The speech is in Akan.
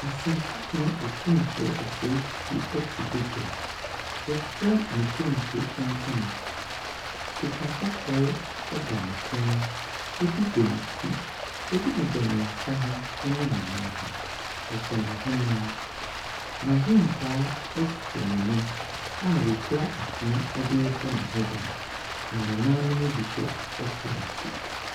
Asantehene Otumfoɔ Osei Tutu te badwam. Wafira ne kenke ntoma. Sikakɔkɔɔ da ne kɔn mu, ɛbi bɔ ne ti. Ɛbi bobcne nsa ho ne ne nan ho. Ɔhyɛ n'henemma. N'ahenkwaa tete n'anim a wɔkura afena de rebɔ ne ho ban, na nananom bi nso te n'akyi.